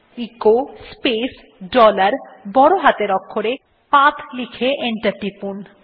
echo space dollar বড় হাতের অক্ষরে p a t হ্ লিখুন এবং এন্টার টিপুন